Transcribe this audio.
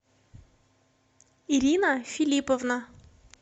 ирина филипповна